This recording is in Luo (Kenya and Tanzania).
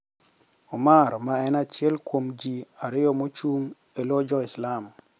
Omar ma en achiel kuom ji ariyo machung` e lo jo islam